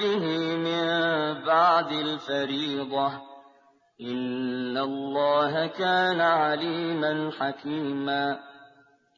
بِهِ مِن بَعْدِ الْفَرِيضَةِ ۚ إِنَّ اللَّهَ كَانَ عَلِيمًا حَكِيمًا